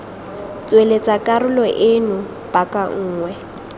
tsweletsa karolo eno paka nngwe